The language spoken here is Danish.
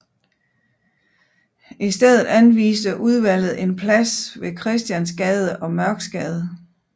I stedet anviste udvalget en plads ved Christiansgade og Mørksgade